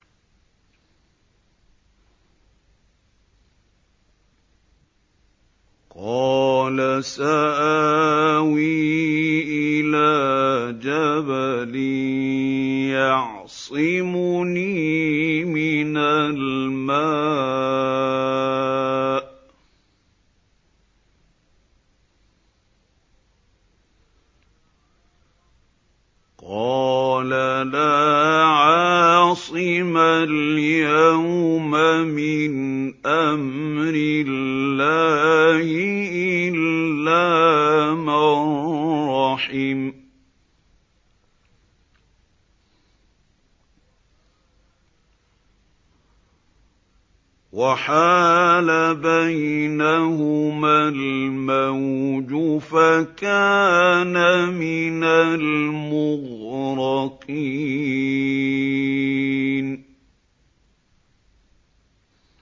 قَالَ سَآوِي إِلَىٰ جَبَلٍ يَعْصِمُنِي مِنَ الْمَاءِ ۚ قَالَ لَا عَاصِمَ الْيَوْمَ مِنْ أَمْرِ اللَّهِ إِلَّا مَن رَّحِمَ ۚ وَحَالَ بَيْنَهُمَا الْمَوْجُ فَكَانَ مِنَ الْمُغْرَقِينَ